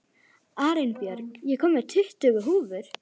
Arinbjörg, ég kom með tuttugu húfur!